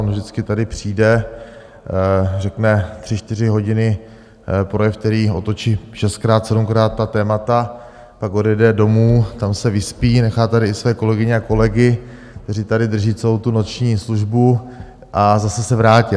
On vždycky tady přijde, řekne tři čtyři hodiny projev, který otočí šestkrát, sedmkrát ta témata, pak odejde domů, tam se vyspí, nechá tady i své kolegyně a kolegy, kteří tady drží celou tu noční službu, a zase se vrátí.